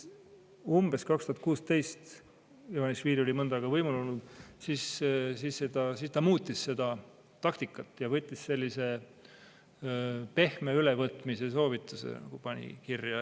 Umbes aastal 2016 – Ivanišvili oli mõnda aega võimul olnud – ta muutis seda taktikat ja pani kirja sellise pehme ülevõtmise soovituse.